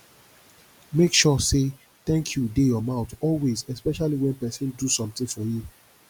make sure say thank you de your mouth always especially when persin do something for you